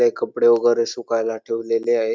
काही कपडे वगैरे सुकायला ठेवलेले आहे.